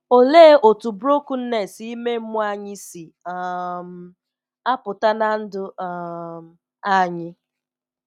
Olee otú brokenness ime mmụọ anyị si um apụta ná ndụ um anyị?